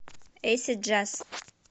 эйсид джаз